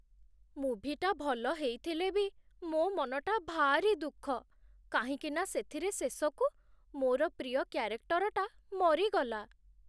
ମୁଭିଟା ଭଲ ହେଇଥିଲେ ବି ମୋ' ମନଟା ଭାରି ଦୁଃଖ କାହିଁକିନା ସେଥିରେ ଶେଷକୁ ମୋର ପ୍ରିୟ କ୍ୟାରେକ୍ଟରଟା ମରିଗଲା ।